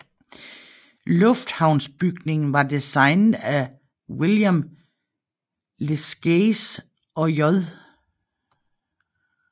Luftfartsbygningen var designet af William Lescaze og J